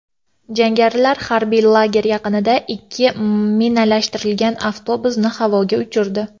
Jangarilar harbiy lager yaqinida ikki minalashtirilgan avtobusni havoga uchirdi.